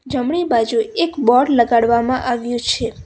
જમણી બાજુ એક બોર્ડ લગાડવામાં આવ્યું છે.